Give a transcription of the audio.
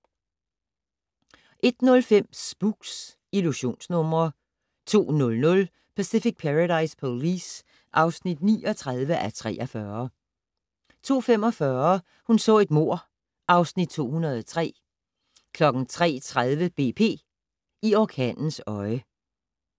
01:05: Spooks: Illusionsnumre 02:00: Pacific Paradise Police (39:43) 02:45: Hun så et mord (Afs. 203) 03:30: BP - i orkanens øje